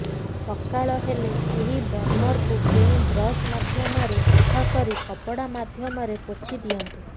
ସକାଳ ହେଲେ ଏହି ବର୍ଣ୍ଣରକୁ କେଉଁ ବ୍ରଶ ମାଧ୍ୟମରେ ସଫା କରି କପଡା ମାଧ୍ୟମରେ ପୋଛି ଦିଅନ୍ତୁ